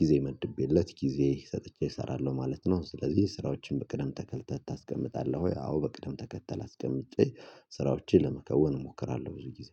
ጊዜ መድቤለት ጊዜ ሰጥቼ እሰራለሁ ማለት ነው። ስለዚህ ስራዎችን በቅደም ተከልተህ ታስቀምጣለህ ወይ? አዎ በቅደም ተከተል አስቀምጬ ስራዎቼን ለመከወን እሞክራለሁ። ብዙ ጊዜ